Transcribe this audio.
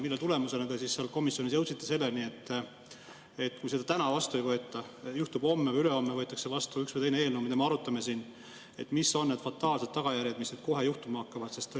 Mille tulemusena te komisjonis jõudsite selleni, et kui seda täna vastu ei võeta – juhtub nii, et homme või ülehomme võetakse vastu üks või teine eelnõu, mida me siis arutame –, siis mis on need fataalsed tagajärjed, mis kohe juhtuma hakkavad?